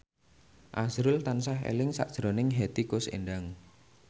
azrul tansah eling sakjroning Hetty Koes Endang